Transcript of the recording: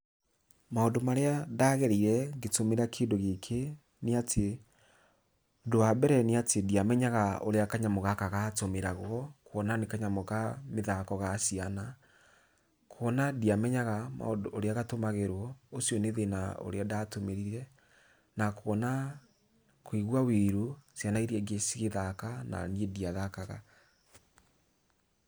Maũndũ marĩa ndagereire ngĩtũmĩra kĩndũ gĩkĩ nĩatĩ, ũndũ wa mbere nĩatĩ ndiamenyaga ũrĩa kanyamũ gaka gatũmĩragwo, kuona nĩ kanyamũ ka mĩthako ga ciana. Kuona ndiamenyaga maũndũ ũrĩa gatũmagĩrwo, ũcio nĩ thĩna ũrĩa ndatũmĩrire, na kuona kuigua wiru, ciana iria ingĩ cigĩthaka na niĩ ndiathakaga.